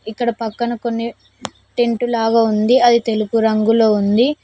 ఇక్కడ పక్కన కొన్ని టెంట్ లాగా ఉంది అది తెలుపు రంగులో ఉంది.